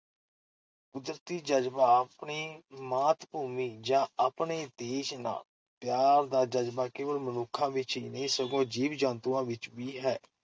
ਕੁਦਰਤੀ ਜਜ਼ਬਾ-ਆਪਣੀ ਮਾਤ-ਭੂਮੀ ਜਾਂ ਆਪਣੇ ਦੇਸ਼ ਨਾਲ ਪਿਆਰ ਦਾ ਜਜ਼ਬਾ ਕੇਵਲ ਮਨੁੱਖਾਂ ਵਿਚ ਹੀ ਨਹੀਂ, ਸਗੋਂ ਜੀਵ-ਜੰਤੂਆਂ ਵਿਚ ਵੀ ਹੈ ।